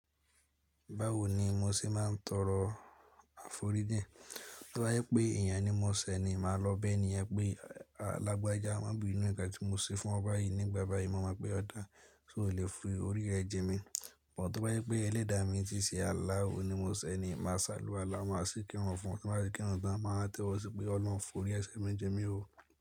Báwo ni mo ṣe máa ń tọrọ àforíjìn? Tí ó bá jẹ́ pé èèyàn ní mo ṣẹ̀ ni, màá lọ bẹ ẹni yẹn pé a làgbàjà má bí inú, ǹkan tí mo ṣe fún ọ báyìí nígbà báyìí, mo máa mọ̀ pé ó dá, ṣó lè fí orí rẹ̀ jimi. But tí ó bá jẹ́ pé Ẹlẹ́dàá mi tí ṣe Allahu ni mo ṣẹ̀ ni, màá ṣe aláwálá, màá sì kí ìrun fún. Tí bá ti kírùn tán, màá tó ṣe pé Olórun, fún orí ẹ̀ṣẹ̀ mi, jì mí o.